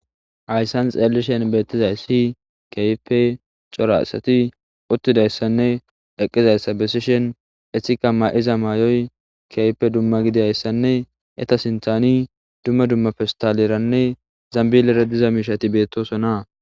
Hayssan xeellishen beettizay si keype cora asati uttidayssanne eqqizayssa besishen ehika ma'iza maayoy keype dumma gidiayssanne eta sinthani dumma dumma festaleranne zambilera diza miishati beettosonaa